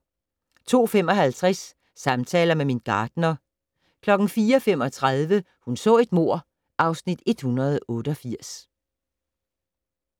02:55: Samtaler med min gartner 04:35: Hun så et mord (Afs. 188)